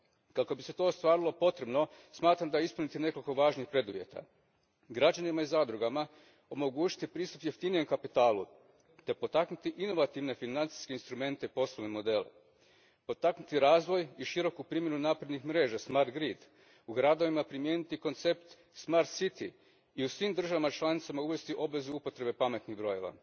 Kako bi se to ostvarilo, smatram da je potrebno ispuniti nekoliko važnih preduvjeta građanima i zadrugama omogućiti pristup jeftinijem kapitalu te potaknuti inovativne financijske instrumente i poslovne modele, potaknuti razvoj i široku primjenu naprednih mreža smart grid u gradovima primijeniti koncept smart city i u svim državama članicama uvesti obvezu upotrebe pametnih brojeva.